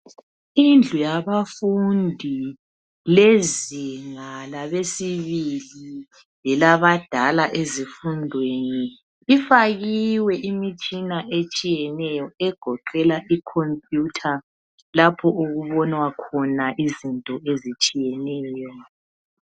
Indlu yabafundi lezinga labesibili lelabadala ezifundweni lifakiwe imitshina etshiyeneyo egoqela icomputer lapho okubonwa khona izinto ezitshiyeneyo.